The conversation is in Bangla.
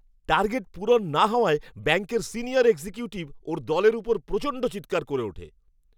টার্গেট পূরণ না হওয়ায় ব্যাঙ্কের সিনিয়র এক্সিকিউটিভ ওর দলের ওপর প্রচণ্ড চিৎকার করে ওঠে।